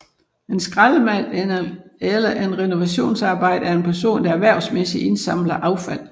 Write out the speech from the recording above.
En skraldemand eller renovationsarbejder er en person der erhvervsmæssigt indsamler affald